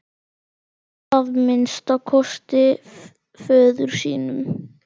Að minnsta kosti föður sínum.